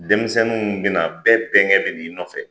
Denmisɛnnin bina bɛɛ bɛnkɛ bɛ n'i nɔfɛ.